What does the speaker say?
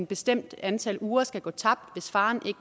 bestemt antal uger skal gå tabt hvis faren